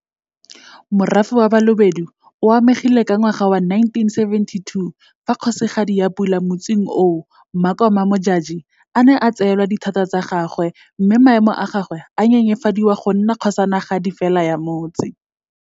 Morafe wa Balobedu o amegile ka 1972 fa Kgosigadi ya Pula ya motsing oo Makoma Modjadji a ne a tseelwa dithata tsa gagwe mme maemo a gagwe a nyenyefadiwa go nna kgosanagadi fela ya motse.